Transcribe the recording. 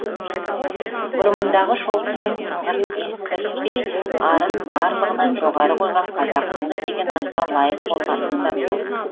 бұрымындағы шолпысының сыңғырын естіртпей арын барлығынан жоғары қойған қазақ қызы деген атқа лайық болғанымыз абзал